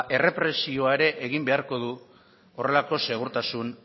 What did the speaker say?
errepresioa ere egin beharko du horrelako segurtasun